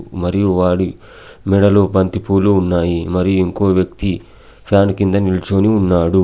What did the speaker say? మరియు వాడి మెడలో బంతిపూలు ఉన్నాయి. మరియు ఇంకో వ్యక్తి ఫ్యాన్ కింద నిల్చోని ఉన్నాడు.